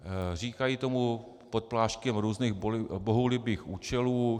Říkají tomu pod pláštěm různých bohulibých účelů.